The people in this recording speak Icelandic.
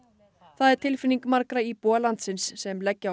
það er tilfinning margra íbúa landsins sem leggja á